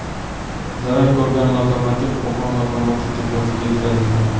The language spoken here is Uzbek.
Zarar ko‘rgan lokomotiv Qo‘qon lokomotiv deposiga yetkazildi.